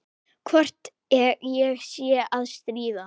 Hvort ég sé að stríða.